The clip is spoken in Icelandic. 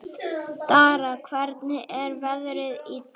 Dara, hvernig er veðrið í dag?